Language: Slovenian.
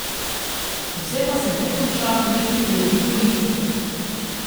Vse pa se ne konča le pri vlogi politike.